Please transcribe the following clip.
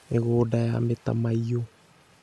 (Mĩgũnda ya mĩtamaiyũ)